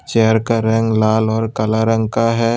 Chair का रंग लाल और काला रंग का है।